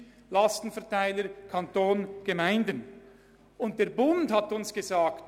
Es würde über den Lastenverteiler abgerechnet und zu 50 Prozent vom Kanton übernommen.